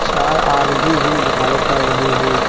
चार आदमी भी दिखाई पड़ रहे हैं।